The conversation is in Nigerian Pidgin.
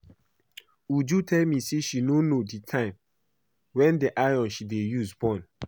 Uju tell me say she no know the time wen the iron she dey use burn